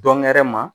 Dɔnk